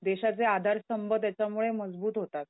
देशाचे आधारस्तंभ त्याच्यामुळे मजबूत होतात.